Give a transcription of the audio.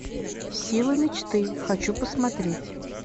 сила мечты хочу посмотреть